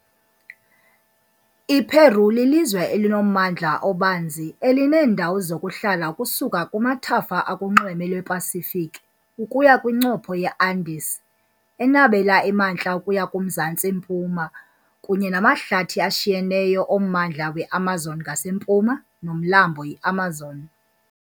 IPeu lilizwe elinommandla obanzi, elineendawo zokuhlala ukusuka kumathafa akunxweme lwePasifiki ukuya kwincopho yeAndes enabela emantla ukuya kumzantsi-mpuma, kunye namahlathi ashinyeneyo ommandla weAmazon ngasempuma, noMlambo iAmazon .